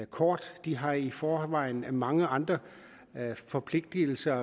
kort de har i forvejen mange andre forpligtelser